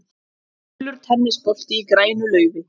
Gulur tennisbolti í grænu laufi.